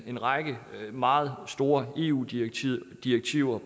en række meget store eu direktiver direktiver